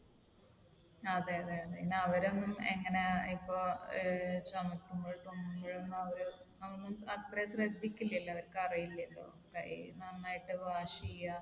അതെ. അതെ. അതെ പിന്നെ അവരൊന്നും എങ്ങനെ ഇപ്പൊ ഏർ ചുമക്കുമ്പോഴും തുമ്മുമ്പോഴും ഒന്നും അവർ അതൊന്നും അത്രയും ശ്രദ്ധിക്കില്ലല്ലോ. അവർക്ക് അറിയില്ലല്ലോ. കൈ നന്നായിട്ട് wash ചെയ്യാ